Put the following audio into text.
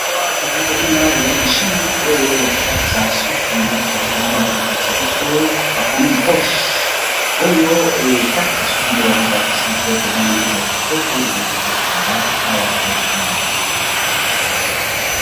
Po awa tozali komona ezali mashine oyo ya ko katisa suki nde tozali komona awa baza ko lakisa biso bakomi boshe, oyo ekataka suki nde bamoi balakisi biso oyo tomoni ezali kitoko ezali kitoko penza awa tozali komona.